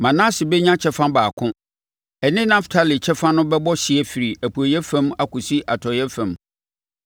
Manase bɛnya kyɛfa baako; ɛne Naftali kyɛfa no bɛbɔ hyeɛ firi apueeɛ fam akɔsi atɔeɛ fam.